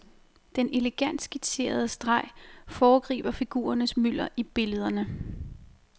Den elegant skitserende streg foregriber figurernes mylder i billederne.